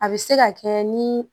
A bɛ se ka kɛ ni